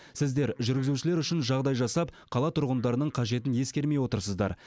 сіздер жүргізушілер үшін жағдай жасап қала тұрғындарының қажетін ескермей отырсыздар